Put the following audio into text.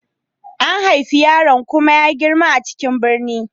An haifi yaron kuma ya girma a cikin birni.